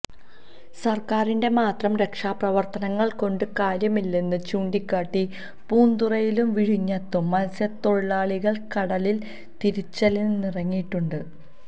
സര്ക്കാരിന്റെ മാത്രം രക്ഷാപ്രവര്ത്തനങ്ങള് കൊണ്ട് കാര്യമില്ലെന്ന് ചൂണ്ടിക്കാട്ടി പൂന്തുറയിലും വിഴിഞ്ഞത്തും മത്സ്യത്തൊഴിലാളികള് കടലിലില് തിരിച്ചലിനിറങ്ങിയിട്ടുണ്ട്